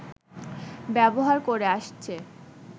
ব্যবহার করে আসছে